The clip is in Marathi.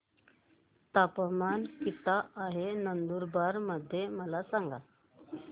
तापमान किता आहे नंदुरबार मध्ये मला सांगा